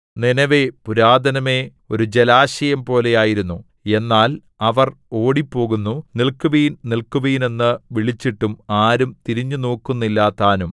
Nineveh പുരാതനമേ ഒരു ജലാശയം പോലെയായിരുന്നു എന്നാൽ അവർ ഓടിപ്പോകുന്നു നില്‍ക്കുവിൻ നില്‍ക്കുവിൻ എന്ന് വിളിച്ചിട്ടും ആരും തിരിഞ്ഞുനോക്കുന്നില്ലതാനും